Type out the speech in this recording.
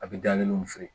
A bɛ da kelen feere